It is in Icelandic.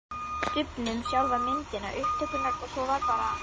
Stubbnum, sjálfa myndina, upptökurnar og svo var bara